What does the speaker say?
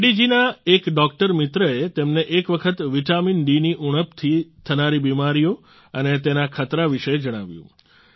રેડ્ડી જી ના એક ડોક્ટર મિત્રએ તેમને એક વખત વિટામીનડી ની ઉણપથી થનારી બિમારીઓ અને તેના ખતરા વિશે જણાવ્યું